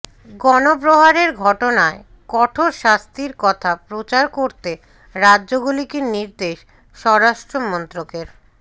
গণপ্রহারের ঘটনায় কঠোর শাস্তির কথা প্রচার করতে রাজ্যগুলিকে নির্দেশ স্বরাষ্ট্র মন্ত্রকের